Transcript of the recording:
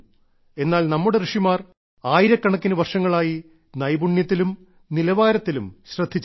എന്നാൽ നമ്മുടെ ഋഷിമാർ ആയിരക്കണക്കിന് വർഷങ്ങളായി നൈപുണ്യത്തിലും നിലവാരത്തിലും ശ്രദ്ധിച്ചിരുന്നു